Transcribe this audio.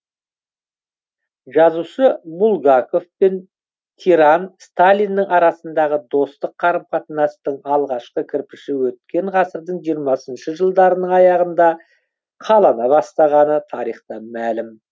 жазушы булгаков пен тиран сталиннің арасындағы достық қарым қатынастың алғашқы кірпіші өткен ғасырдың жиырмасыншы жылдарының аяғында қалана бастағаны тарихтан мәлім